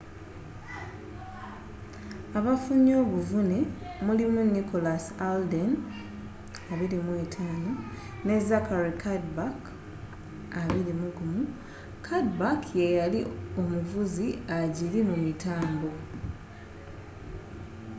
abafunye obuvune mulimu nicholas alden 25 ne zachary cuddeback 21 cuddeback yeyali omuvuzi agiri mu mitambo